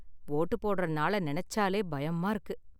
Vote போடுற நாள நினைச்சாலே பயமா இருக்கு.